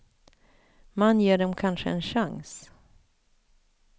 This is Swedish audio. Man ger dem kanske en chans.